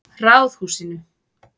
Ráðhúsinu